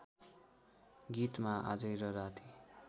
गीतमा आजै र राति